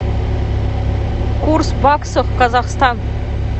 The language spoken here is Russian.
курс баксов казахстан